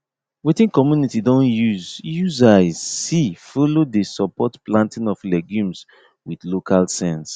wetin community don use use eyes see follow dey support planting of legumes with local sense